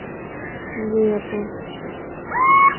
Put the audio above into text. জী আপু